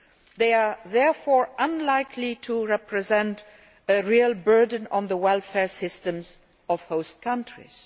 They are therefore unlikely to represent a real burden on the welfare systems of host countries.